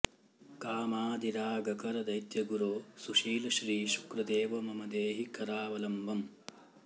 कामादिरागकर दैत्यगुरो सुशील श्री शुक्रदेव मम देहि करावलम्बम्